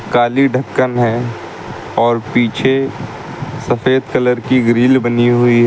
काली ढ़क्कन है और पीछे सफेद कलर की ग्रिल बनी हुई --